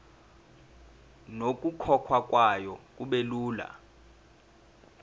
nokukhokhwa kwayo kubelula